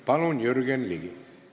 Palun, Jürgen Ligi!